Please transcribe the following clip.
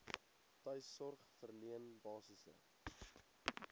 tuissorg verleen basiese